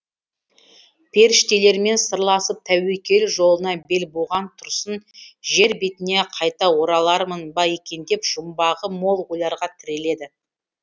періштелермен сырласып тәуекел жолына бел буған тұрсын жер бетіне қайта оралармын ба екен деп жұмбағы мол ойларға тіреледі